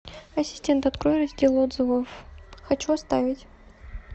ассистент открой раздел отзывов хочу оставить